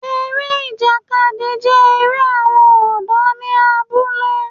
Eré ìjàkadì jé eré àwọn ọ̀dọ́ ní abúlé